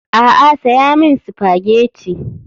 A'a saya min spaghetti.